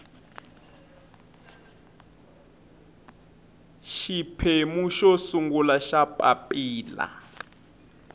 xiphemu xo sungula xa papilla